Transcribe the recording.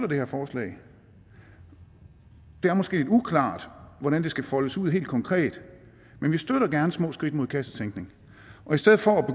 det her forslag det er måske lidt uklart hvordan det skal foldes ud helt konkret men vi støtter gerne små skridt mod kassetænkning og i stedet for at